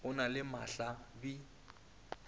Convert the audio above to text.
o na le mahla bi